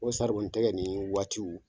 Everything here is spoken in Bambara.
N ko bi sari bɔ n tɛgɛ nin waatiw